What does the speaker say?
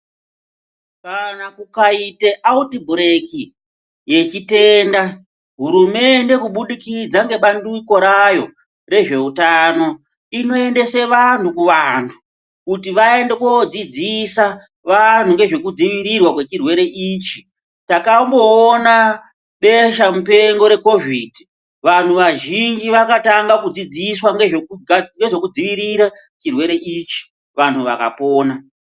Kana kukaite autibhureki yechitenda, hurumende kubudikidza ngebandiko rayo rezveutano, inoendese vantu kuvantu, kuti vaende kodzidzisa vanhu ngezvekudzivirirwa kwechirwere ichi. Takamboona beshamupengo reKovhidhi. Vanhu vazhinji vakatanga kudzidziswa ngezvekudziirire chirwere ichi, vantu vakapona.